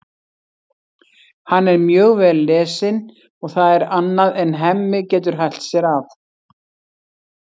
Hann er mjög vel lesinn og það er annað en Hemmi getur hælt sér af.